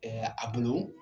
a bolo